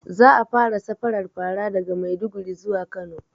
Za a fara safarar fara daga maiduguri zuwa kano